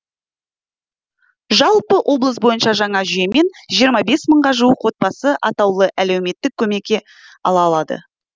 жалпы облыс бойынша жаңа жүйемен жиырма бес мыңға жуық отбасы атаулы әлеуметтік көмек ала алады